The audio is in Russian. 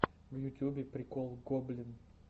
в ютьюбе прикол гоблин